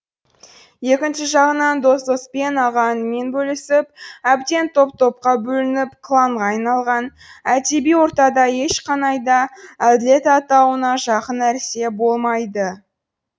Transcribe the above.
екінші жағынан дос доспен аға інімен бөлісіп әбден топ топқа бөлініп кланға айналған әдеби ортада ешқанай да әділет атауына жақын нәрсе болмайды